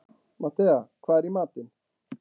Matthea, hvað er í matinn?